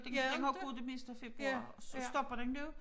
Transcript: Den har gået det meste af februar og så stopper den nu